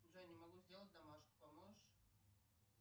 джой не могу сделать домашку поможешь